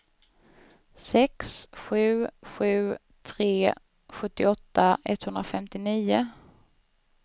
sex sju sju tre sjuttioåtta etthundrafemtionio